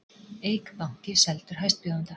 Eik banki seldur hæstbjóðanda